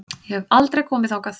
Ég hef aldrei komið þangað.